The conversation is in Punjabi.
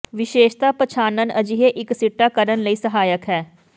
ਵਿਸ਼ੇਸ਼ਤਾ ਪਛਾਣਨ ਅਜਿਹੇ ਇੱਕ ਸਿੱਟਾ ਕਰਨ ਲਈ ਸਹਾਇਕ ਹੈ